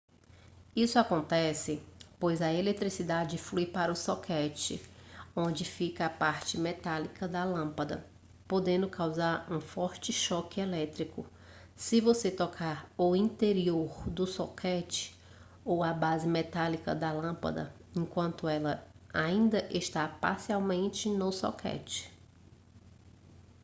isso acontece pois a eletricidade flui para o soquete onde fica a parte metálica da lâmpada podendo causar um forte choque elétrico se você tocar o interior do soquete ou a base metálica da lâmpada enquanto ela ainda está parcialmente no soquete